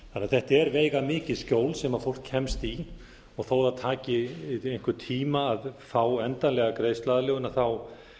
þetta er því veigamikið skjól sem fólk kemst í og þó að það taki einhvern tíma að fá endanlega greiðsluaðlögun er þetta